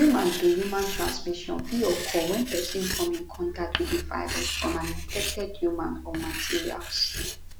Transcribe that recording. human to human transmission fit occur wen pesin come in contact wit di virus from an infected human or materials